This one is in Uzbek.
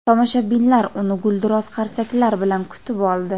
tomoshabinlar uni gulduros qarsaklar bilan kutib oldi.